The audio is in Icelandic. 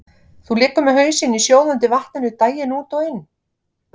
Þú liggur með hausinn í sjóðandi vatninu daginn út og inn.